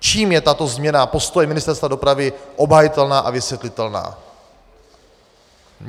Čím je tato změna postoje Ministerstva dopravy obhajitelná a vysvětlitelná?